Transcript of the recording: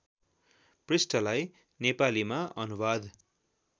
पृष्ठलाई नेपालीमा अनुवाद